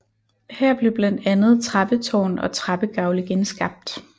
Her blev blandt andet trappetårn og trappegavle genskabt